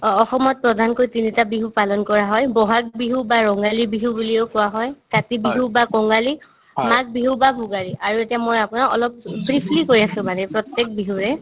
অ, অসমত প্ৰধানকৈ তিনিটা বিহু পালন কৰা হয় ব'হাগ বিহু বা ৰঙালী বিহু বুলিও কোৱা হয় , কাতি বিহু বা কঙালী, মাঘ বিহু বা ভোগালী আৰু এতিয়া মই আপোনাক অলপ পিছত briefly কৈ আছো মানে প্ৰত্যেক বিহুৰে